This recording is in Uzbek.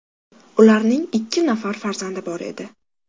Ularning ikki nafari farzandi bor edi.